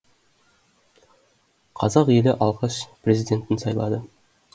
қазақ елі алғаш президентін сайлады